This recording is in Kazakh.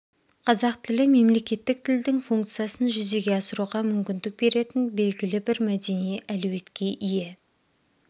қазақ тілі мемлекеттік тілдің функциясын жүзеге асыруға мүмкіндік беретін белгілі бір мәдени әлеуетке ие